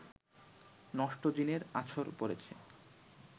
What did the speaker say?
নষ্ট জিনের আছড় পড়েছে